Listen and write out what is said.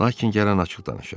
Lakin gəlin açıq danışaq.